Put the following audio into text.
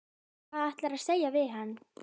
Hvað ætlarðu að segja við hann?